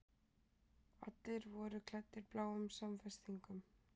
Allir voru klæddir bláum samfestingum.